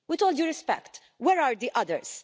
With all due respect, where are the others?